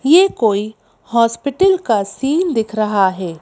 ये कोई हॉस्पिटल का सीन दिख रहा हैं।